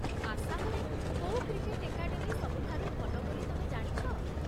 ଆସାମରେ କୋଉ cricket academy ସବୁଠାରୁ ଭଲ ବୋଲି ତମେ ଜାଣିଛ?